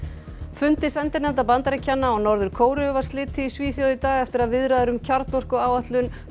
fundi sendinefnda Bandaríkjanna og Norður Kóreu var slitið í Svíþjóð í dag eftir að viðræður um kjarnorkuáætlun